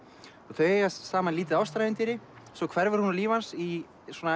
þau eiga saman lítið ástarævintýri svo hverfur hún úr lífi hans í